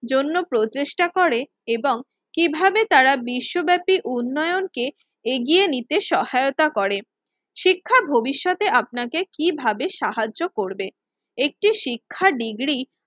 জন্য প্রচেষ্টা করে এবং কিভাবে তারা বিশ্বব্যাপী উন্নয়নকে এগিয়ে নিতে সহায়তা করে। শিক্ষা ভবিষ্যতে আপনাকে কিভাবে সাহায্য করবে? একটি শিক্ষা ডিগ্রী